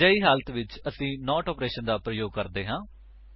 ਅਜਿਹੀ ਹਾਲਤ ਵਿੱਚ ਅਸੀ ਨੋਟ ਆਪਰੇਸ਼ਨ ਦਾ ਪ੍ਰਯੋਗ ਕਰਦੇ ਹਾਂ